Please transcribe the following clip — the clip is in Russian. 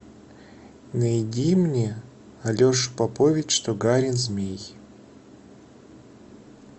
найди мне алеша попович тугарин змей